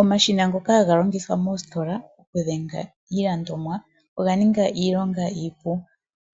Omashina ngoka haga longitha moositola okudhenga iilandomwa oga ninga iilonga iipu